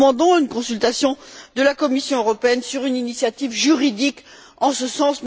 Nous demandons une consultation de la Commission européenne sur une initiative juridique en ce sens.